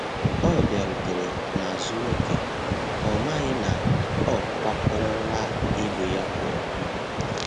Ọ biarutere n'azu oke, ọmaghi na ọkwa kọrọ la ibụ ya puọ